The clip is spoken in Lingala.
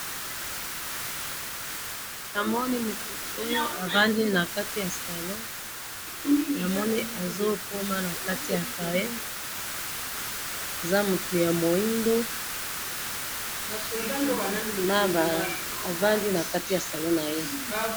namoni mutu oyo avandi nakatiyasalon namoni azokoma nakati ya cahier aza mutu ya mwindo nabaaaaa avandi nakati ya salon naye